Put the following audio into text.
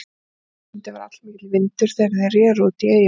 Á Viðeyjarsundi var allmikill vindur þegar þeir reru út í eyjuna.